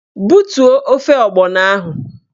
Butuo ofe ọgbọnọ ahụ!